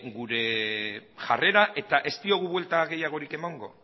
gure jarrera eta ez diogu buelta gehiagorik emango